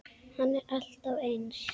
Hann er alltaf eins.